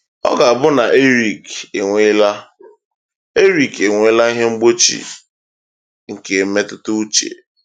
Ọ ga-abụ na Erik enweela Erik enweela ihe mgbochi nke mmetụtauche.